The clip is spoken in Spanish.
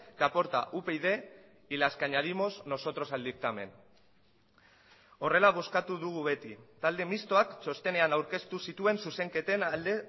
que aporta upyd y las que añadimos nosotros al dictamen horrela bozkatu dugu beti talde mistoak txostenean aurkeztu zituen zuzenketen alde